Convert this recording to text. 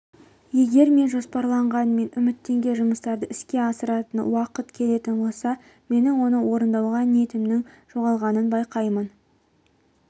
егер мен жоспарлаған мен үміттенген жұмыстарды іске асыратын уақыт келетін болса менің оны орындауға ниетімнің жоғалғанын байқаймын